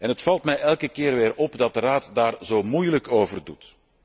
Het valt mij elke keer weer op dat de Raad daarover zo moeilijk doet.